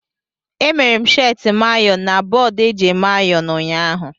E mere m sheeti m ayọn na bọọdụ eji eme ayon ụnyaahụ.